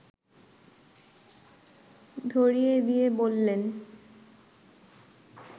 ধরিয়ে দিয়ে বললেন